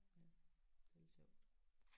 Ja det er lidt sjovt